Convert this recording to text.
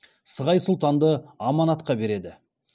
сығай сұлтанды аманатқа береді